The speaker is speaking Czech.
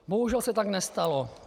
Bohužel se tak nestalo.